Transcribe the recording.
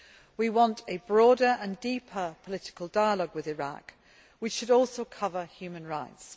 We want a broader and deeper political dialogue with Iraq, which should also cover human rights.